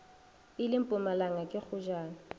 e le mpumalanga ke kgojana